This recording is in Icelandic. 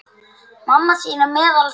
Mamma þín er meðal þeirra.